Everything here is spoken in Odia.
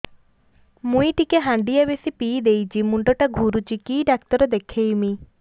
ମୁଇ ଟିକେ ହାଣ୍ଡିଆ ବେଶି ପିଇ ଦେଇଛି ମୁଣ୍ଡ ଟା ଘୁରୁଚି କି ଡାକ୍ତର ଦେଖେଇମି